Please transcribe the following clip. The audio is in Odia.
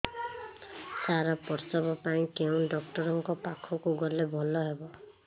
ସାର ପ୍ରସବ ପାଇଁ କେଉଁ ଡକ୍ଟର ଙ୍କ ପାଖକୁ ଗଲେ ଭଲ ହେବ